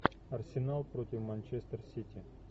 арсенал против манчестер сити